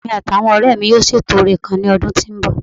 Èmi àti àwọn ọ̀rẹ́ mi yóò ṣètò orin kan lọ́dún tó ń bọ̀